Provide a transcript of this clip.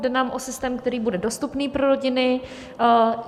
Jde nám o systém, který bude dostupný pro rodiny.